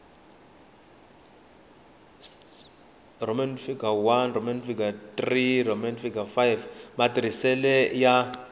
ii iii iv matirhisele yo